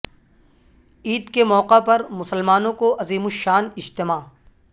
عید کے موقع پر مسلمانوں کو عظیم الشان اجتماع